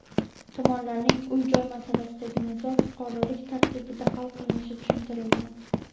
Tomonlarning uy-joy masalasidagi nizo fuqarolik tartibida hal qilinishi tushuntirilgan.